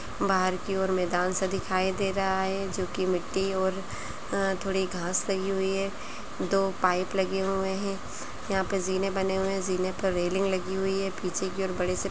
बाहर की ओर मैदान सा दिखाई दे रहा है जोकि मिट्टी और अ-थोड़ी घास लगी हुई है दो पाइप लगे हुए हैं यहाँ पर जीने बने हुए हैं जीने पर रेलिंग लगी हुई है पीछे की ओर बढ़े से --